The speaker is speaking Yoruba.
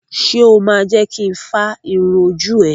Ṣo ma jẹ́ kin fá irun ojú ẹ?